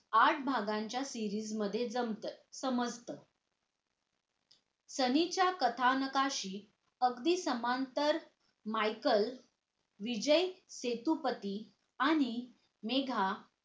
आठ भागांच्या series मध्ये जमतं समजत सनीच्या कथानकाशी अगदी समांतर michel विजय सेतुपाती आणि मेघा